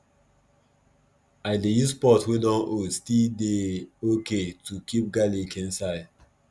i dey use pot wey dun old still dey okay to keep garlic inside